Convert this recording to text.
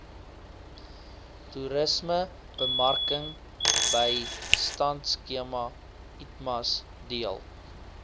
toerismebemarkingbystandskema itmas deel